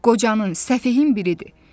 O qocanın səfehin biridir.